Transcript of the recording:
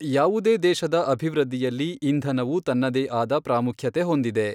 ಯಾವುದೇ ದೇಶದ ಅಭಿವೃದ್ಧಿಯಲ್ಲಿ ಇಂಧನವು ತನ್ನದೇ ಆದ ಪ್ರಾಮುಖ್ಯತೆ ಹೊಂದಿದೆ.